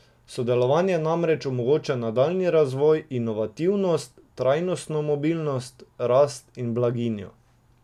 Sodelovanje namreč omogoča nadaljnji razvoj, inovativnost, trajnostno mobilnost, rast in blaginjo.